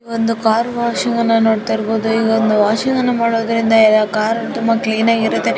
ಒಂದು car washing ಅನ್ನು ನೋಡ್ತಾ ಇರಬಹುದು ವಾಷಿಂಗ್ ಅನ್ನು ಮಾಡೋದ್ರಿಂದ ಕಾರು ತುಂಬಾ ಕ್ಲೀನ್ ಆಗಿರುತ್ತೆ.